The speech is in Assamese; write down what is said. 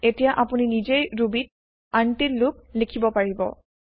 এতিয়া আপুনি নিজেই ৰুবি ত আনতিল্ লুপ লিখিব পাৰিব